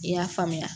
I y'a faamuya